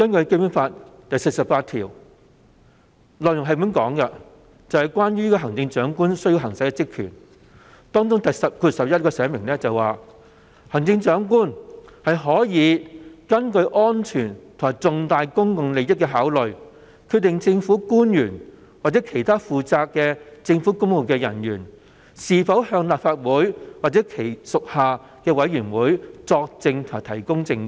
《基本法》第四十八條訂明行政長官需要行使的職權，當中第項表明行政長官可根據安全及重大公共利益的考慮，決定政府官員或其他負責政府公務的人員是否向立法會或其屬下的委員會作證及提供證據。